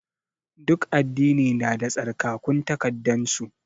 Duk addini na da tsarkakun takaddan su.